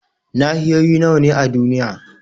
Nahiyoyi nawa ne a duniya?